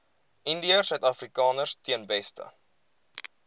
indiërsuidafrikaners ten beste